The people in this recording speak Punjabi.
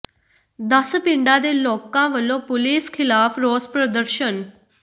ਦਸ ਪਿੰਡਾਂ ਦੇ ਲੋਕਾਂ ਵੱਲੋਂ ਪੁਲੀਸ ਖਿਲਾਫ਼ ਰੋਸ ਪ੍ਰਦਰਸ਼ਨ